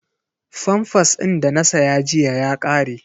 Famfas din da na saya jiya ya ƙare.